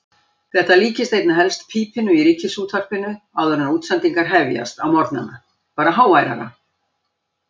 Þetta líkist einna helst pípinu í Ríkisútvarpinu áður en útsendingar hefjast á morgnana, bara háværara.